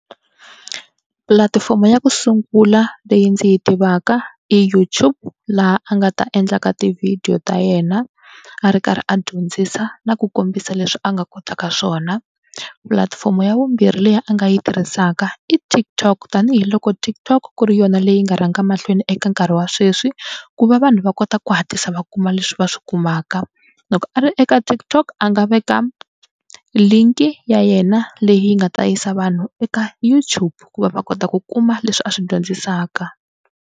Pulatifomo ya ku sungula leyi ndzi yi tivaka i YouTube laha a nga ta endlaka tivhidiyo ta yena a ri karhi a dyondzisa na ku kombisa leswi a nga kotaka swona. Pulatifomo ya vumbirhi leyi a nga yi tirhisaka i TikTok tanihiloko TikTok ku ri yona leyi nga rhanga mahlweni eka nkarhi wa sweswi ku va vanhu va kota ku hatlisa va kuma leswi va swi kumaka. Loko a ri eka TikTok a nga veka link ya yena leyi nga ta yisa vanhu eka YouTube ku va va kota ku kuma leswi a swi dyondzisaka.